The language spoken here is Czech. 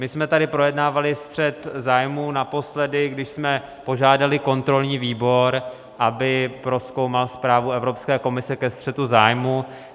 My jsme tady projednávali střet zájmu naposledy, když jsme požádali kontrolní výbor, aby prozkoumal zprávu Evropské komise ke střetu zájmů.